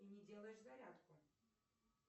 и не делаешь зарядку